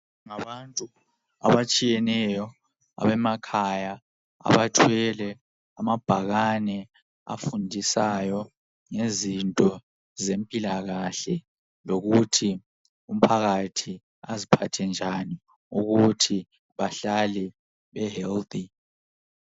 Abantu abatshiyeneyo abemakhaya abathwele amabhakane afundisayo ngezinto zempilakahle lokuthi abantu aziphathe njan ukuthi bahlele behealth